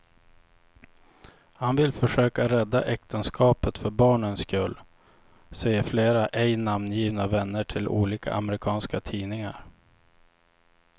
Han vill försöka rädda äktenskapet för barnens skull, säger flera ej namngivna vänner till olika amerikanska tidningar.